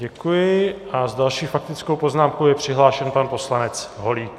Děkuji a s další faktickou poznámkou je přihlášen pan poslanec Holík.